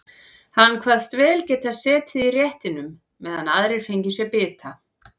Hann kvaðst vel geta setið í réttinum meðan aðrir fengju sér bita.